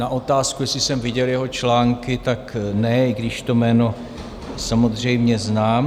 Na otázku, jestli jsem viděl jeho články, tak ne, i když to jméno samozřejmě znám.